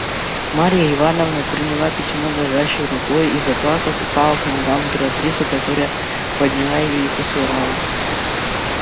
марья ивановна приняла письмо дрожащею рукою и заплакав упала к ногам императрицы которая подняла её и поцеловала